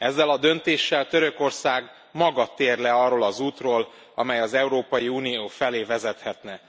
Ezzel a döntéssel Törökország maga tér le arról az útról, amely az Európai Unió felé vezethetne.